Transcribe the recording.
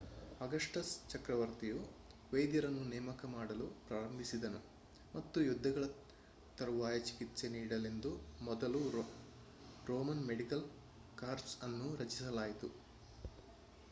Augustus ಚಕ್ರವರ್ತಿಯು ವೈದ್ಯರನ್ನು ನೇಮಕ ಮಾಡಲು ಪ್ರಾರಂಭಿಸಿದನು ಮತ್ತು ಯುದ್ಧಗಳ ತರುವಾಯ ಚಿಕಿತ್ಸೆ ನೀಡಲೆಂದು ಮೊದಲ ರೋಮನ್ ಮೆಡಿಕಲ್ ಕಾರ್ಪ್ಸ್ ಅನ್ನು ರಚಿಸಲಾಯಿತು